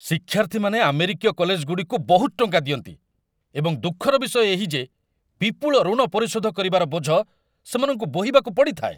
ଶିକ୍ଷାର୍ଥୀମାନେ ଆମେରିକୀୟ କଲେଜଗୁଡ଼ିକୁ ବହୁତ ଟଙ୍କା ଦିଅନ୍ତି, ଏବଂ ଦୁଃଖର ବିଷୟ ଏହି ଯେ ବିପୁଳ ଋଣ ପରିଶୋଧ କରିବାର ବୋଝ ସେମାନଙ୍କୁ ବୋହିବାକୁ ପଡ଼ିଥାଏ।